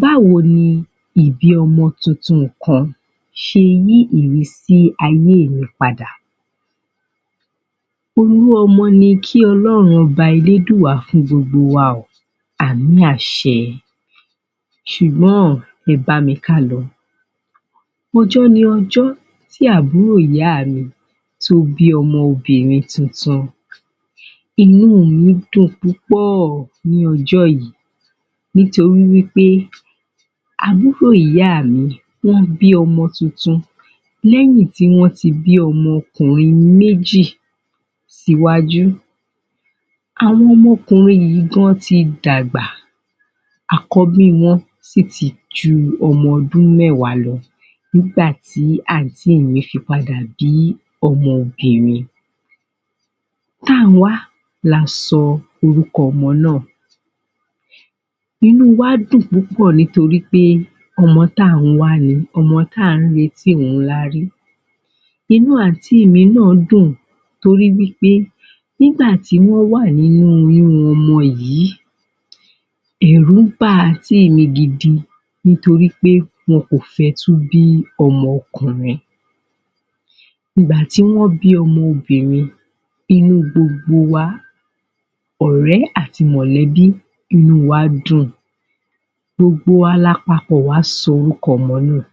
Báwo ni ìbí ọmọ tuntun kan ṣe ní ìrísí ayé ìyípadà? Olú ọmọ ni kí olóduùmarè fún gbogbo wa o àmín àṣẹ ṣùgbọ́n, ẹ bá mi ká lọ ọjọ́ ni ọjọ́ tí àbúrò ìyá mi tó bí ọmọbìnrin tuntun inú mi dùn púpọ̀ ní ọjọ́ yìí nítorí wí pé àbúrò ìyá mi, ó bí ọmọ tuntun lẹ́yìn tí wọ́n ti bí ọmọ ọkùnrin méjì sí wájú Àwọn ọmọkùnrin yìí gan ti dàgbà àkọ́bí wọn sì ti ju ọmọ ọdún mẹ́wàá lọ nígbà tí àntí mi fi padà bí ọmọbìnrin Táǹwá ni a sọ orúkọ ọmọ náà Inú wa dùn púpọ̀ nítorí pé ọmọ táǹwá ni, ọmọ tí à ń retí òun la rí Inú àntí mi náà dùn nítorí nígbà tí wọ́n wà ní inú oyún ọmọ yìí ẹ̀rù ba àntí mi gidi nítorí pé wọn kò fẹ́ tún bí ọmọ ọkùnrin Ìgbà tí wọ́n bí ọmọ obinrin, inú gbogbo wa ọ̀rẹ́, àti mọ̀lẹ́bí inú wa dùn gbogbo wa la papọ̀ wá sọ orúkọ ọmọ náà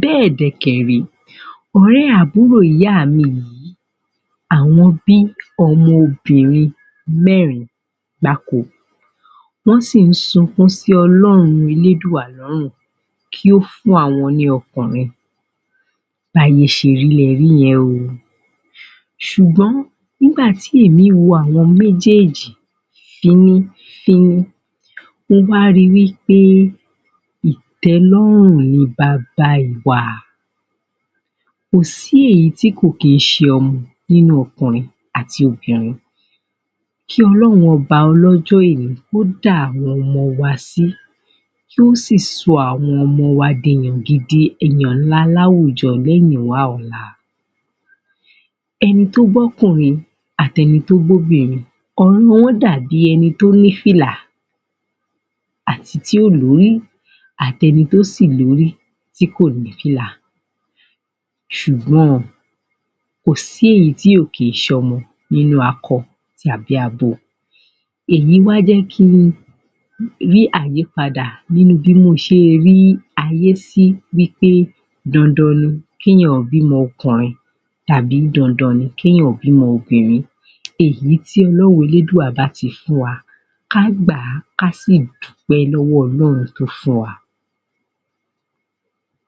bẹ́ẹ̀ dẹ̀ kẹ̀ ré, ọ̀rẹ̀ àbúrò ìyá mi yìí àwọn bí ọmọbìnrin mẹ́rin gbáko wọ́n sì ń sunkún sí ọlọ́run elédùà lọ́rùn kí ó fún àwọn ní ọkùnrin Bí ayé ṣe rí lẹ rí yẹn o ṣùgbọ́n nígbà tí èmi wo àwọn méjéèjì, fínnífíní mo wá ri wí pé ìtẹ́lọ́rùn ni bába ìwà kò sí èyí tí kìí ṣe ọmọ nínú ọkùnrin àti obìnrin Kí Ọlọ́run ọba ọlọ́jọ́ ọ̀ní kó dá àwọn ọmọ wa sí kí ó sì sọ àwọn ọmọ wa di èèyàn gidi, ènìyàn ńlá láwùjọ lẹ́yìnwá ọ̀la ẹni tó bí ọkùnrin àti ẹni tó bi obìnrin ọ̀rọ̀ wọn dàbí ẹni tó ní fìlà àti tí ò lórí, àti ẹni tó sì lórí tí kò ní fìlà ṣùgbọ́n, kò sí èyí tí kò kí ń ṣe ọmọ nínú akọ tàbí abo èyí wá jẹ́ kí n ní àyípadà nínú bí mo ṣe rí ayé sí bí pé dandan ni kí èèyàn bí ọmọkùnrin àbí dandan ni kí èèyàn ó bí ọmọ obìnrin Èyí tí ọlọ́run elédùà bá ti fún wa ká gbà á ká sì dúpẹ́ lọ́wọ́ ọlọ́hrun tó fún wa